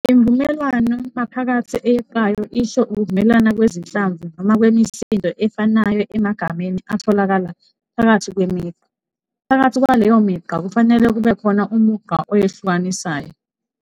Imvumelwano-maphakathi eyeqayo isho ukuvumelana kwezinhlamvu noma kwemisindo efanayo emagameni atholakala phakathi kwemigqa, phakathi kwaleyo migqa kufanele kubekhona umugqa oyehlukanisayo.